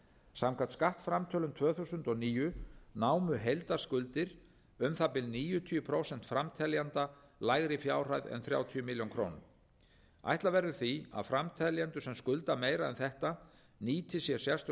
samkvæmt skattframtölum tvö þúsund og níu námu heildarskuldir um það bil níutíu prósent framteljenda lægri fjárhæð en þrjátíu ár ætla verður því að þeir framteljendur sem skulda meira en þetta nýti sér sérstök